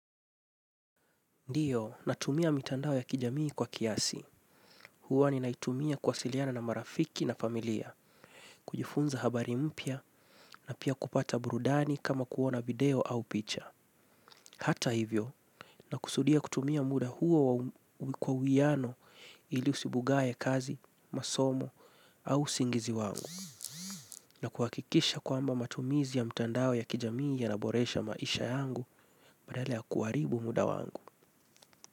Ndiyo natumia mitandao ya kijamii kwa kiasi. Huwa ni naitumia kwasiliana na marafiki na familia, kujifunza habari mpya na pia kupata burudani kama kuona video au picha. Hata hivyo, nakusudia kutumia muda huo kwa uiano ili usibugae kazi, masomo au usingizi wangu. Na kuhakikisha kwamba matumizi ya mtandao ya kijamii yanaboresha maisha yangu badala ya kuharibu muda wangu.